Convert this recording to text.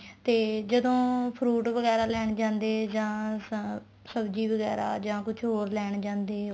ਤੇ ਜਦੋਂ fruit ਵਗੈਰਾ ਲੈਣ ਜਾਂਦੇ ਜਾਂ ਅਮ ਸਬ੍ਜ਼ੀ ਵਗੈਰਾ ਜਾਂ ਕੁੱਛ ਹੋਰ ਲੈਣ ਜਾਂਦੇ